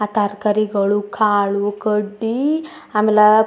ಆಹ್ಹ್ ತರಕಾರಿಗಳು ಕಾಳು ಕಡ್ಡಿ ಆಮೇಲ --